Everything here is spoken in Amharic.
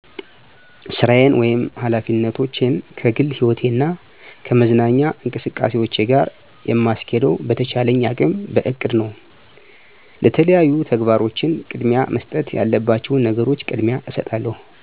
ሥራየን ወይም ኃላፊነቶቸን ከግል ሕይወቴ እና ከመዝናኛ እንቅስቃሴዎቸ ጋር የምስኬደው በቸቻለኝ አቅም በእቅደ ነው። ለተለያዩ ተግባሮቸን ቅደሚያ መሰጠት ያለባቸዉን ነገሮች ቅደሚያ እስጣለሁ።